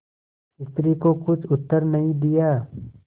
स्त्री को कुछ उत्तर नहीं दिया